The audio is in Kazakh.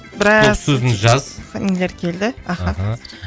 біраз стоп сөзін жаз нелер келді аха